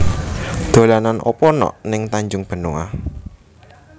Dolanan opo nok ning Tanjung Benoa?